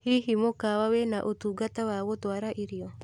hihi mũkawa wĩna ũtungata wa gũtwara irio